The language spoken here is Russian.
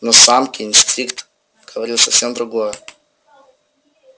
но самке инстинкт говорил совсем другое